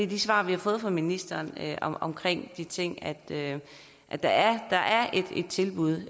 de svar vi har fået fra ministeren omkring de ting er at der er et tilbud